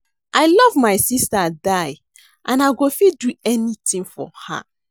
I love my sister die and I go fit do anything for her